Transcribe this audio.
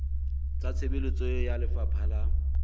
tsa tshebetso ya lefapha la